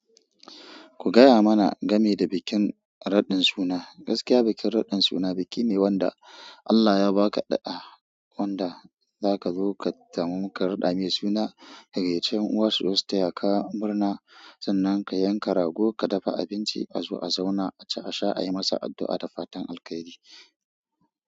Ku gaya mana game da bikin raɗin suna. Gaskiya bikin raɗin suna biki ne wanda Allah ya ba ka ɗa, wanda za ka zo ka samu ka raɗa mai suna. Ka gayyaci ƴan uwa suzo su taya ka murna, sannan ka yanka rago, ka dafa abinci a zo a zauna aci a sha, a yi masa addu'a da fatan alkhairi.